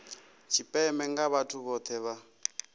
tshipembe nga vhathu vhohe vha